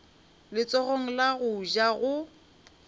letsogong la go ja go